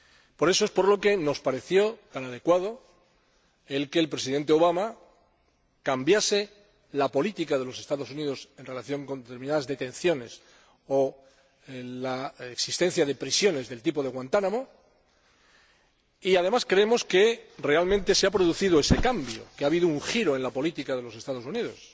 Por eso nos pareció tan adecuado que el Presidente Obama cambiase la política de los Estados Unidos en relación con determinadas detenciones o con la existencia de prisiones del tipo de Guantánamo y, además, creemos que, realmente, se ha producido ese cambio, que ha habido un giro en la política de los Estados Unidos.